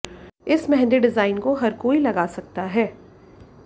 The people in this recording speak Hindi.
इस मेहंदी डिजाइन को हर कोई लगा सकता है